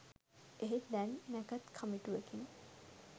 එහෙත් දැන් නැකත් කමිටුවකින්